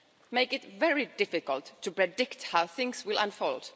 make it very difficult to predict how things will unfold.